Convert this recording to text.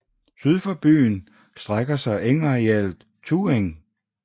Syd for byen strækker sig engarealet Tueng